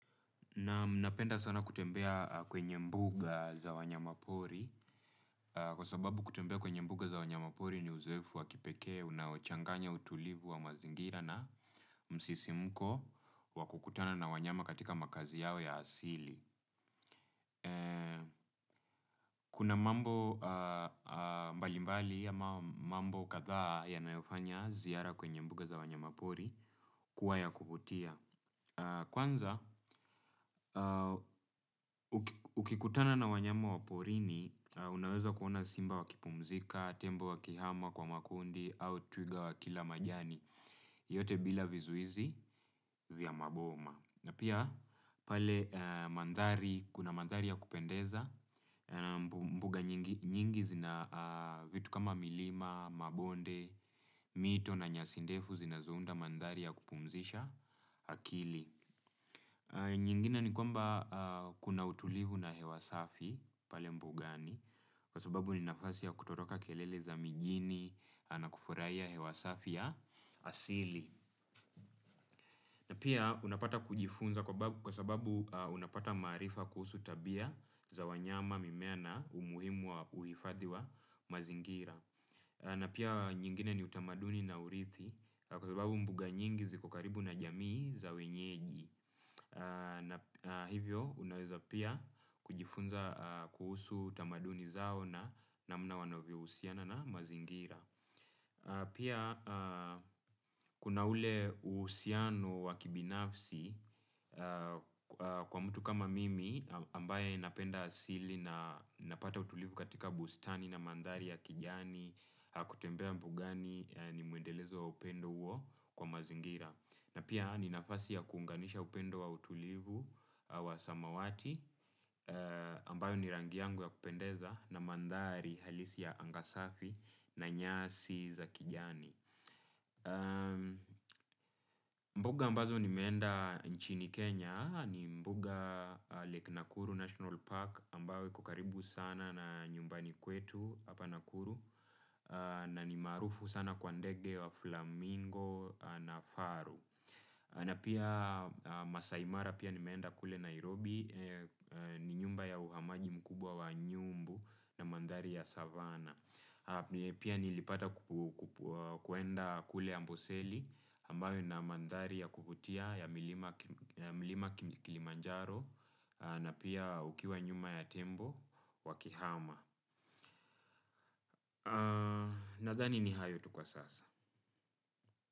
Naam napenda sana kutembea kwenye mbuga za wanyama pori kwa sababu kutembea kwenye mbuga za wanyamapori ni uzoefu wa kipekee unaochanganya utulivu wa mazingira na msisimuko wa kukutana na wanyama katika makazi yao ya asili. Kuna mambo mbali mbali ya mambo kadhaa yanayofanya ziara kwenye mbuga za wanyama pori kuwa ya kuvutia. Kwanza, ukikutana na wanyama wa porini unaweza kuona simba wa kipumzika, tembo wakihama kwa makundi au twiga wakila majani. Yote bila vizuizi vya maboma na pia pale mandhari, kuna mandhari ya kupendeza. Mbuga nyingi zina vitu kama milima, mabonde, mito na nyasi ndefu zinazounda mandhari ya kupumzisha akili. Nyingine ni kwamba kuna utulivu na hewa safi pale mbugani kwa sababu ni nafasi ya kutoroka kelele za mijini na kufurahia hewasafi ya asili. Na pia unapata kujifunza kwa sababu unapata maarifa kuhusu tabia za wanyama mimea na umuhimu wa uhifadhi wa mazingira. Na pia nyingine ni utamaduni na urithi kwa sababu mbuga nyingi ziko karibu na jamii za wenyeji. Na hivyo unaweza pia kujifunza kuhusu tamaduni zao na namna wanavyo husiana na mazingira. Pia kuna ule uhusiano wa kibinafsi kwa mtu kama mimi ambaye napenda asili na napata utulivu katika bustani na mandhari ya kijani, kutembea mbugani ni muendelezo wa upendo huo kwa mazingira. Na pia ni nafasi ya kuunganisha upendo wa utulivu wa samawati ambayo ni rangi yangu ya kupendeza na mandhari halisi ya angasafi na nyasi za kijani. Mbuga ambazo nimeenda nchini Kenya ni mbuga Lake Nakuru National Park ambayo kukaribu sana na nyumbani kwetu hapa Nakuru na ni maarufu sana kwa ndege wa flamingo na faru. Na pia Masai mara pia nimeenda kule Nairobi ni nyumba ya uhamaji mkubwa wa nyumbu na mandhari ya savana. Pia nilipata kuenda kule ambuseli ambayo na mandhari ya kukutia ya milima Kilimanjaro na pia ukiwa nyuma ya tembo wakihama. Nadhani ni hayo tu kwa sasa.